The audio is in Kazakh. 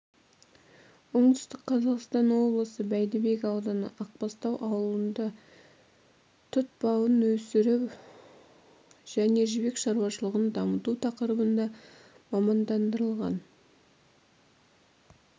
оңтүстік қазақстан облысы бәйдібек ауданы ақбастау ауылында тұт бауын өсіру және жібек шаруашылығын дамыту тақырыбында мамандандырылған